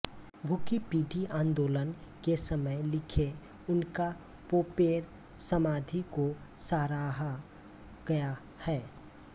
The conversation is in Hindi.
भुखी पीढी आन्दोलन के समय लिखे उनका पोपेर समाधि को सराहा गया है